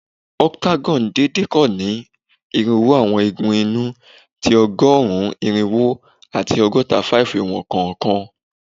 Octagon deede kan ni irinwo awọn igun inu ti ọgọrun irinwo ati ọgọta-5 iwọn kọọkan